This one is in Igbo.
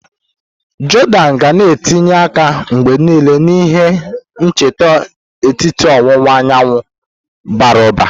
Jordan ga na etinye aka mgbe niile na ihe nketa etiti ọwụwa anyanwụ bara ụba.